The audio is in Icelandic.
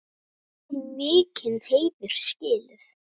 Þau eiga mikinn heiður skilið.